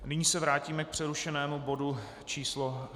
Nyní se vrátíme k přerušenému bodu číslo